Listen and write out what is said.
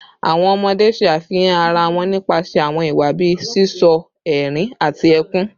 Awọn ọmọde ṣe afihan ara wọn nipasẹ awọn iwa bii sisọ, ẹrin, ati ẹkun